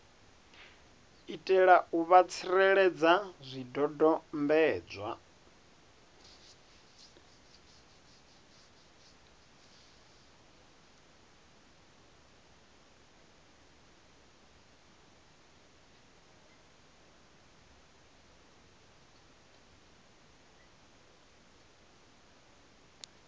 itela u vha tsireledza zwidodombedzwa